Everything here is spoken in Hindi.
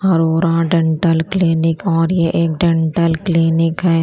अरोरा डेंटल क्लिनिक और ये एक डेंटलक्लीनिक है।